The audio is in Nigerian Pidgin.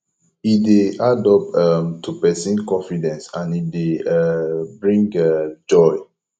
e de add up um to persin confidence and e de um bring um joy